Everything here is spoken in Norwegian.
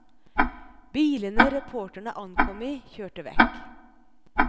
Bilene reporterne ankom i kjørte vekk.